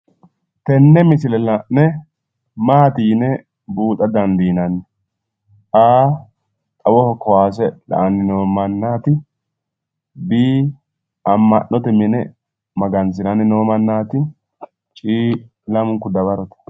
tenne misile la'ne maati yine buuxa dandinanni? a. xawoho kowaase la'anni noo manna, b. amma'note mine magansiranni noo mannaati c. lamunku dawarote